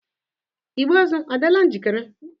Igbe ozu adịla njikere?